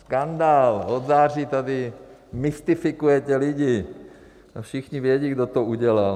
Skandál, od září tady mystifikujete lidi, všichni vědí, kdo to udělal.